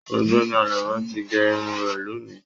Ọ̀gbẹ́ni Àlàbá tí gé Irun rẹ lóni.